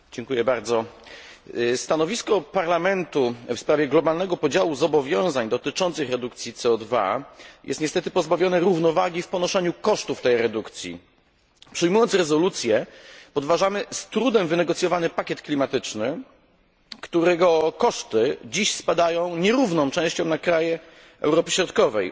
Panie przewodniczący! Stanowisko Parlamentu w sprawie globalnego podziału zobowiązań dotyczących redukcji CO jest niestety pozbawione równowagi w ponoszeniu kosztów tej redukcji. Przyjmując rezolucję podważamy z trudem wynegocjonowany pakiet klimatyczny, którego koszty dziś spadają nierówną częścią na kraje członkowskie z Europy Środkowej.